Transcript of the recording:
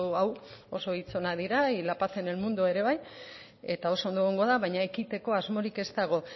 hau oso hitz onak dira y la paz en el mundo ere bai eta oso ondo egongo da baina ekiteko asmorik ez dago